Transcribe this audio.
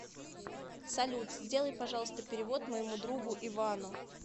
салют сделай пожалуйста перевод моему другу ивану